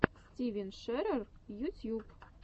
стивен шерер ютьюб